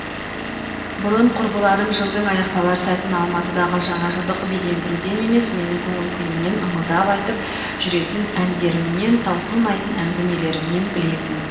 бұрын құрбыларым жылдың аяқталар сәтін алматыдағы жаңажылдық безендіруден емес менің көңіл күйімнен ыңылдап айтып жүретін әндерімнен таусылмайтын әңгімелерімнен білетін